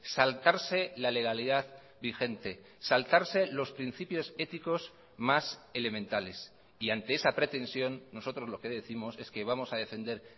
saltarse la legalidad vigente saltarse los principios éticos más elementales y ante esa pretensión nosotros lo que décimos es que vamos a defender